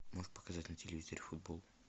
можешь показать на телевизоре футбол